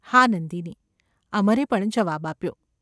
‘હા. નંદિની !’ અમરે પણ જવાબ આપ્યો.